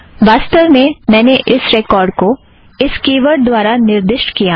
वास्तव में मैंने इस रेकोर्ड़ को इस की वर्ड़ द्वारा निर्दिष्ट किया है